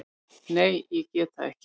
Nei, ég get það ekki.